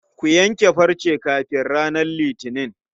Ku yanke farce kafin ranar Litini.